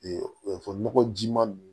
nɔgɔ ji ma ninnu